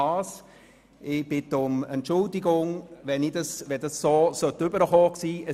Ich bitte um Entschuldigung, falls das so herüberkommen sein sollte.